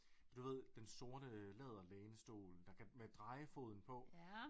Du ved den sorte læderlænestol der kan med drejefoden på